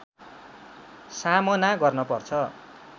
सामना गर्न पर्छ